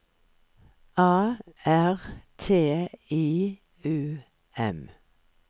A R T I U M